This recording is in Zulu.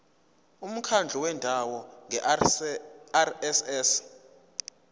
umkhandlu wendawo ngerss